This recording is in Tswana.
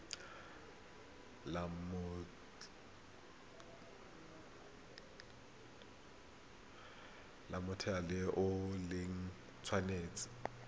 la mothale o le tshwanetse